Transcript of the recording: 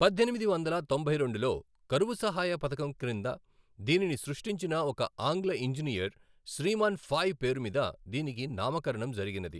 పద్దెనిమిది వందల తొంభై రెండులో కరువు సహాయ పథకం క్రింద దీనిని సృష్టించిన ఒక ఆంగ్ల ఇంజనీర్ శ్రీమాన్ ఫాయ్ పేరు మీద దీనికి నామకరణం జరిగినది.